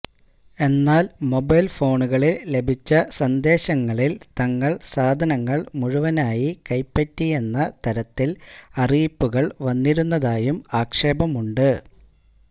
എന്നാല് മൊബൈല് ഫോണുകളില് ലഭിച്ച സന്ദേശങ്ങളില് തങ്ങള് സാധനങ്ങള് മുഴുവനായി കൈപ്പറ്റിയെന്ന തരത്തില് അറിയിപ്പുകള് വന്നിരുന്നതായും ആക്ഷേപമുണ്ട്